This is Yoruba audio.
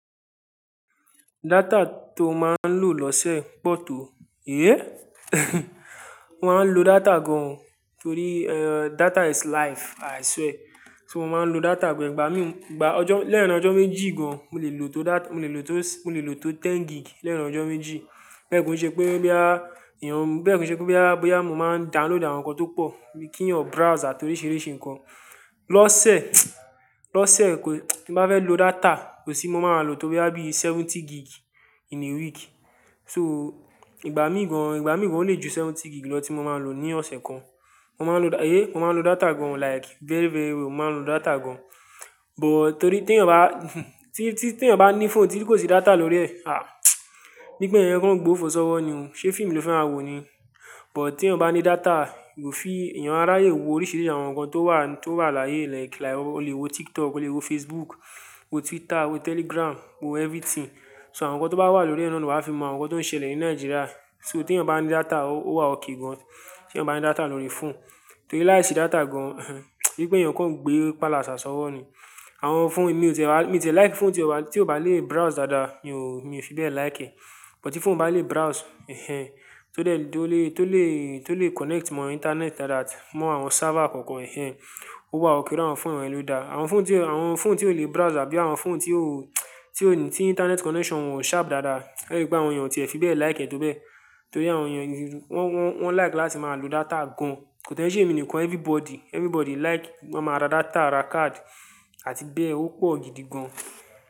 Data tó máa ń lò lọ́sẹ̀ pọ̀ tó. Éh! Mo máa ń lo data gan torí, eh, data is life, i swear. So mo máa ń lo data gan, ìgbà mi ọjọ́ leerin ọjọ́ mẹ́jì gan. Mo lè lò tó da-- mo lè lò tó s-- mo lè lò tó ten gig lẹ́erìn ọjọ́ méjì. Bẹ́ẹ̀ kò ṣe pé bóyá èèyàn, bẹ́ẹ̀ kò ṣe pé bóyá bóyá mo máa ń download àwọn nǹkan tó pọ̀, bíi kínyàn browse àti oríṣìíríṣìí nǹkan. Lọ́sẹ̀, lọ́sẹ̀ pé tí n bá fẹ́ lo data, kò sí bí mo máa máa lò tó bóyá bí seventy gig in a week. So ìgbà mí gan, ìgbà mí gan ó lè ju seventy gig lọ tí mo máa lò ní ọ̀sẹ̀ kan. Mo máa ń lo da-- éhéh, mo máa ń lo data gan like very, very well. Mo máa ń lo data gan. But torí tí ènìyàn bá tí, tí, tí ènìyàn bá ní fóònù tí kò sí data lórí ẹ̀, àh! Bí i pé ènìyàn kań gbo fò ṣọ́ wọ́ ni o. Ṣé fíìmù ni o fẹ́ máa wò ni? But tí ènìyàn bá ní data, yóò fi-- ènìyàn á ráyè wo oríṣìíríṣìí àwọn nǹkan tó wà, tó wà láyé like, like o lè wo TikTok, o lè wo Facebook, wo Twitter, wo Telegram, wo everything. So àwọn nǹkan tó bá wà lórí é náà ni wà á fi mọ àwọn nǹkan tó ń ṣẹlẹ̀ ní Nàìjíríà. So tí ènìyàn bá ní data, ó, ó wà okè gan. Tí ènìyàn bá ní data lórí fóònù. Torí láìsí data gan, bí i pé ènìyàn kọ̀ ń gbé pálàṣà sọ́wọ́ ni. Àwọn fóònù mi ò tẹ̀ wá, mi ò tẹ̀ like fóònù tí ó bá, tí ò bá lè browse dáadáa, mi ò, mi ò fi bẹ́ẹ̀ like ẹ̀. But tí fóònù bá lè browse, ẹhẹ́n, tó dè, tó lè, tó lè connect mọ internet dáadáa, mọ àwọn server kọ̀ọ̀kan, ẹhẹ́n, ó wà okè. Irú àwọn fóònù yẹn ló dáa. Àwọn fóònù tí, àwọn fóònù tí ò lè browse àbí àwọn fóònù tí ó tí ò ní, tí internet connection ò sharp dáadáa, ẹ̀rí wípé àwọn ènìyàn ò tí e fi bẹ́ẹ̀ like ẹ́ tó bẹ́ẹ̀. Torí àwọn ènìyàn wọ́n, wọ́n, wọ́n like láti máa lo data gan. Kò dẹ́ i ṣe èmi nìkan, everybody, everybody like máa ma ra data, ra card àti bẹ́ẹ̀ ó pọ̀ gidi gan.